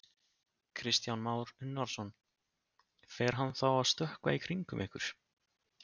Kristján Már Unnarsson: Fer hann þá að stökkva í kringum ykkur?